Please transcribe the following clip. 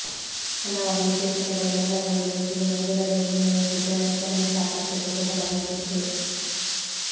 ಹಲವಾರು ವಿಶೇಷತೆಗಳನ್ನು ಒಳಗೊಂಡಿರುವ ಈ ಸಿನಿಮಾ ಬಿಡುಗಡೆಗೂ ಮುನ್ನವೇ ಚಿತ್ರರಸಿಕರಲ್ಲಿ ಸಾಕಷ್ಟು ಕುತೂಹಲ ಮೂಡಿಸಿದೆ